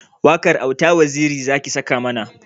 Waƙar auta waziri zaki saka mana